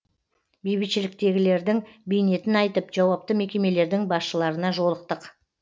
бейбітшіліктегілердің бейнетін айтып жауапты мекемелердің басшыларына жолықтық